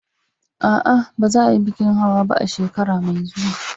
A'a, ba za a yi bikin hawa ba a shekara mai zuwa.